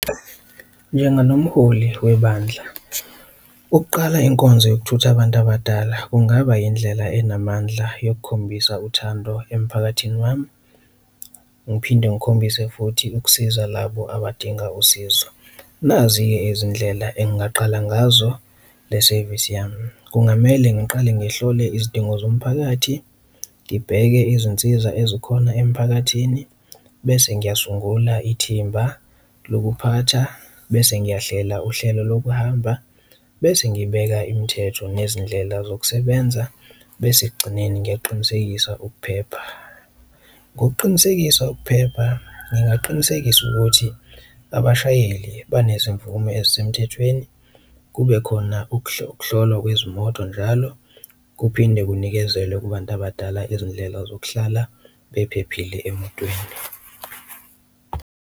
Njenganomholi webandla ukuqala inkonzo yokuthutha abantu abadala kungaba indlela enamandla yokukhombisa uthando emphakathini wami, ngiphinde ngikhombise futhi ukusiza labo abadinga usizo, nazi-ke izindlela engaqala ngazo le sevisi yami. Kungamele ngiqale ngihlole izidingo zomphakathi, ngibheke izinsiza ezikhona emphakathini bese ngingasungula ithimba lokuphatha, bese ngiyahlela uhlelo lokuhamba, bese ngibeka imithetho nezindlela zokusebenza, bese ekugcineni ngiyaqinisekisa ukuphepha. Ngokuqinisekisa ukuphepha ngingaqinisekisa ukuthi abashayeli banezimvume ezisemthethweni, kube khona ukuhlolwa kwezimoto njalo, kuphinde kunikezelwe kubantu abadala izindlela zokuhlala bephephile emotweni.